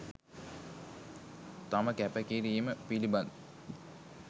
තම කැපකිරීම පිළිබඳ